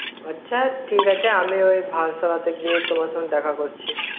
আছা ঠিক আছে আমি ওই ভারসালয় তে গিয়ে তোমার সাথে দেখা করছি